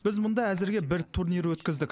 біз мұнда әзірге бір турнир өткіздік